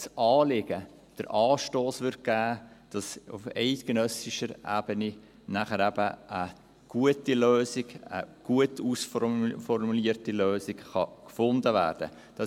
Das Anliegen würde aber den Anstoss geben, dass auf eidgenössischer Ebene dann eben eine gut ausformulierte Lösung gefunden werden kann.